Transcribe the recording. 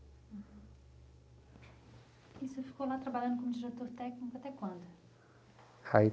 E você ficou lá trabalhando como diretor técnico até quando? Ai